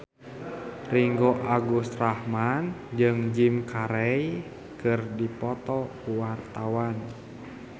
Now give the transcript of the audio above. Ringgo Agus Rahman jeung Jim Carey keur dipoto ku wartawan